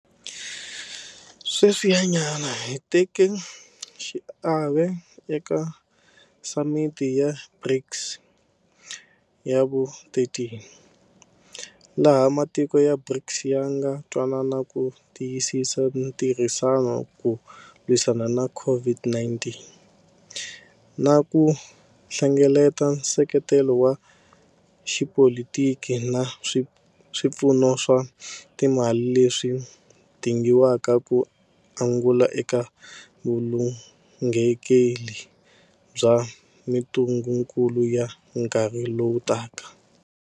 Sweswinyana hi teke xiave eka Samiti ya BRICS ya vu13, laha matiko ya BRICS ya nga twanana ku tiyisisa ntirhisano ku lwisana na COVID-19 na ku hlengeleta nseketelo wa xipolitiki na swipfuno swa timali leswi dingiwaka ku angula eka vulunghekeli bya mitungukulu ya nkarhi lowu taka.